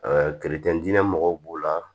dingɛ mɔgɔw b'o la